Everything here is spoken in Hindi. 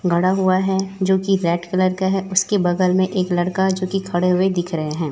गड़ा हुआ है जो की रेड कलर का है उसके बगल में एक लड़का जो की खड़े हुए दिख रहे हैं।